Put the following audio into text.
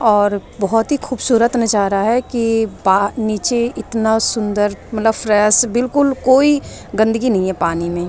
और बहुत ही खूबसूरत नजारा है कि नीचे इतना सुंदर मतलब फ्रेश बिल्कुल कोई गंदगी नहीं है पानी में ।